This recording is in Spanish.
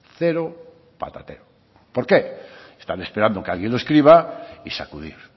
cero patatero por qué están esperando que alguien lo escriba y sacudir